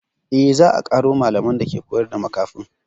Eh, za a ƙaro malaman dake koyar da makafin